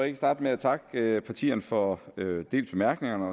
ikke starte med at takke partierne for dels bemærkningerne